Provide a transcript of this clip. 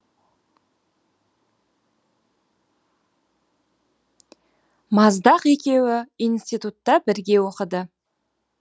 маздақ екеуі институтта бірге оқыды